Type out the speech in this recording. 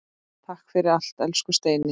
Takk fyrir allt, elsku Steini.